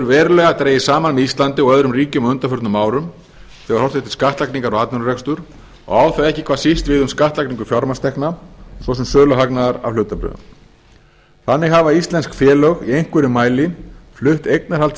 verulega dregið saman með íslandi og öðrum ríkjum á undanförnum árum þegar horft er til skattlagningar á atvinnurekstur og á það ekki hvað síst við um skattlagningu fjármagnstekna svo sem söluhagnaðar af hlutabréfum þannig hafa íslensk félög í einhverjum mæli flutt eignarhald